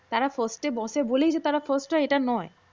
তারা ফার্স্টে বসে বলেই যে তারা ফারস্ত হয় এটা টা নয়